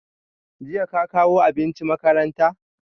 Jiya ka kawo abinci makaranta?